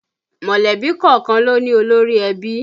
Mọ̀lẹ́bí kọ̀ọ̀kan ló ní olórí ẹbí